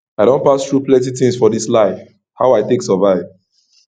i don pass through plenty tins for dis life how i take survive